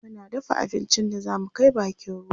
muna dafa abincin da zamu Kai bakin ruwa